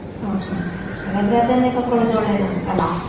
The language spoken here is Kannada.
ಹ್ಮ್ ಹ್ಮ್ ಹ್ಮ್ ಹಾಗಾದ್ರೆ ಅದನ್ನೇ ತಕ್ಕೊಳ್ಳುದು ಒಳ್ಳೆದಾಂತ ಅಲ್ಲಾ.